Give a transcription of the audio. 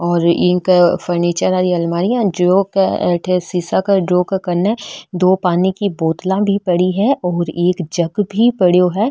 और एक फर्नीचर वाली अलमारी है और जो अठे शीशा के ड्रॉ के कन्ने दो पानी की बोतला पड़ी है और एक जग भी पड़यो है।